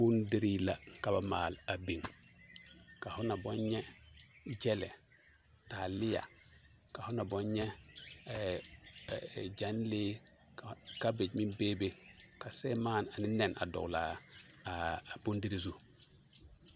Bondirii la ka ba maale a biŋ ka ho na boŋ nyɛ gyɛlɛ, taaleɛ, ka ho na boŋ nyɛ gyɛnlee, kabekyi meŋ beebe ka seremaane ane nɛne a dɔgelaa bondirii zu.